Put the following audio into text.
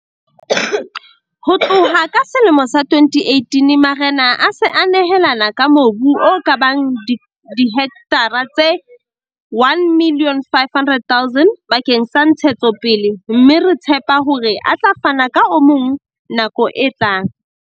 Ho tloha ka selemo sa 2018, marena a se a nehelane ka mobu o ka bang dihektara tse 1 500 000 bakeng sa ntshetsopele, mme re tshepa hore a tla fana ka o mong nakong e tlang.